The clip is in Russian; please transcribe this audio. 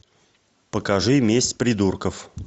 покажи месть придурков